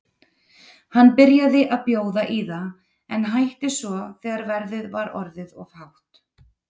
Hann byrjaði að bjóða í það en hætti svo þegar verðið var orðið of hátt.